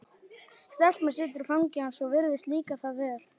Stelpan situr í fangi hans og virðist líka það vel.